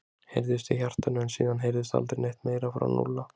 heyrðist í hjartanu en síðan heyrðist aldrei neitt meira frá Núlla.